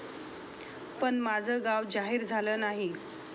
पण माझं नाव जाहीर झालं नाही.